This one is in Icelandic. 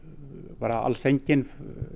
bara alls enginn